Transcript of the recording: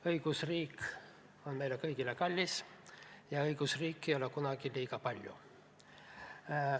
Õigusriik on meile kõigile kallis ja õigusriiki ei ole kunagi liiga palju.